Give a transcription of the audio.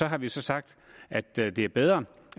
har vi sagt at det det er bedre